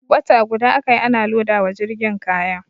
Wata guda aka yi ana loda wa jirgin kaya.